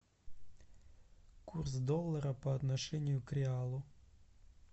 курс доллара по отношению к реалу